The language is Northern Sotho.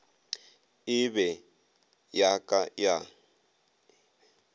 e be ya ka ya